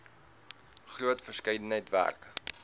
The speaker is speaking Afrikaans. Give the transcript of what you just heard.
groot verskeidenheid werk